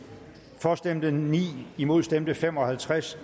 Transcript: for stemte ni imod stemte fem og halvtreds